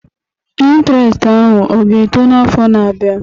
Intiresti ahụ ọ ga-eto n'afọ na-abịa?